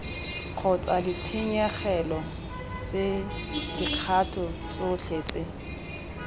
kgotsa ditshenyegelo dikgato tsotlhe tse